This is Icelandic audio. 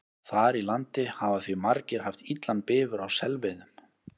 Þar í landi hafa því margir haft illan bifur á selveiðum.